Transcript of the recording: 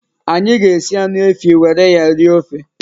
Anyị ga-esi anụ efi were ya rie ofe